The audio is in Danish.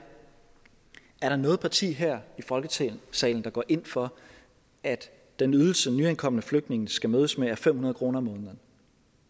der noget parti her i folketingssalen der går ind for at den ydelse nyankomne flygtninge skal mødes med er fem hundrede kroner om at